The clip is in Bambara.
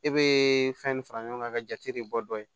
E be fɛn fara ɲɔgɔn kan ka jate de bɔ dɔ ye